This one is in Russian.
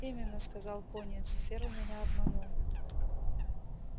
именно сказал пониетс ферл меня обманул